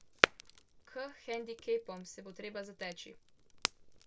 K hendikepom se bo treba zateči.